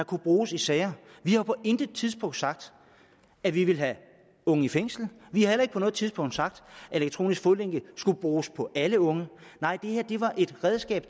kunne bruges i sager vi har på intet tidspunkt sagt at vi ville have unge i fængsel vi har heller ikke på noget tidspunkt sagt at elektronisk fodlænke skulle bruges på alle unge nej det her var et redskab